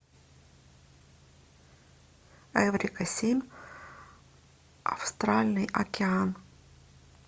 эврика семь астральный океан